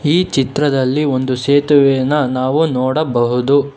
ಈ ಚಿತ್ರದಲ್ಲಿ ಒಂದು ಸೇತುವೆಯನ್ನ ನಾವು ನೋಡಬಹುದು.